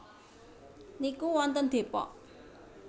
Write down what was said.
niku wonten Depok